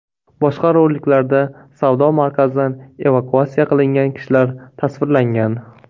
Boshqa roliklarda savdo markazidan evakuatsiya qilingan kishilar tasvirlangan.